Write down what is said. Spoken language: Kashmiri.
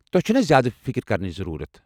تۄہہِ چھَنہٕ زیادٕ فکر کرنٕچ ضروٗرَت!